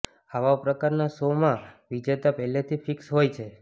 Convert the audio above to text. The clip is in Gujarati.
આવા પ્રકારના શો માં વિજેતા પહેલાથી ફિક્સ હોય છે